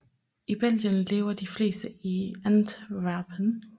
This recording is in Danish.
I Belgien lever de fleste i Antwerpen